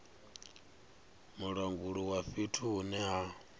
mulanguli wa fhethu hune ha